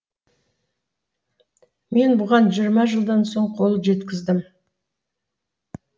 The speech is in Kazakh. мен бұған жиырма жылдан соң қол жеткіздім